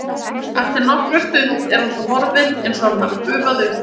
Eftir nokkra stund er hann svo horfinn eins og hann hafi gufað upp.